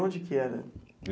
E onde que era?